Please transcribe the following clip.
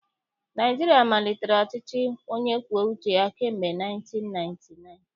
Naịjirịa malitere ọchịchị onye kwuo uche kamgbe 1999